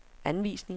anvisninger